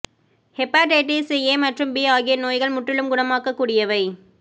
hepatitis A மற்றும் B ஆகிய நோய்கள் முற்றிலும் குணமாக்கக் கூடியவை